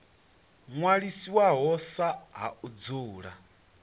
ṅwalisiwaho sa ha u dzula